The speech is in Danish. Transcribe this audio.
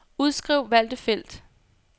Udskriv valgte felt.